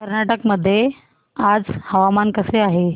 कर्नाटक मध्ये आज हवामान कसे आहे